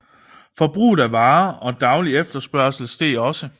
Forbruget af varer og daglig efterspørgsel steg også